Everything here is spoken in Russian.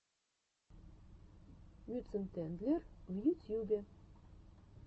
мюцентендлер в ютьюбе